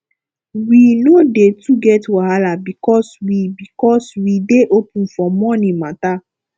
we no dey too get wahala because we because we dey open for moni mata